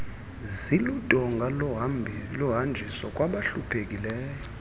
ziludonga lohanjiso kwabahluphekileyo